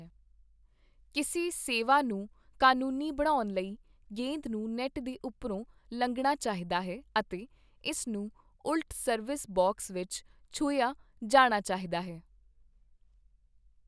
ਕਿਸੇ ਸੇਵਾ ਨੂੰ ਕਾਨੂੰਨੀ ਬਣਾਉਣ ਲਈ, ਗੇਂਦ ਨੂੰ ਨੈੱਟ ਦੇ ਉੱਪਰੋਂ ਲੰਘਣਾ ਚਾਹੀਦਾ ਹੈ ਅਤੇ ਇਸ ਨੂੰ ਉਲਟ ਸਰਵਿਸ ਬਾਕਸ ਵਿੱਚ ਛੂਹਿਆ ਜਾਣਾ ਚਾਹੀਦੀ ਹੈ।